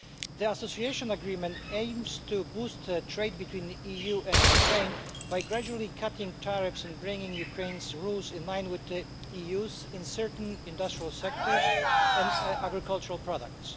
The Association Agreement aims to boost trade between the EU and Ukraine by gradually cutting tariffs and bringing Ukraine's rules in line with the EU's in certain industrial sectors and on agricultural products.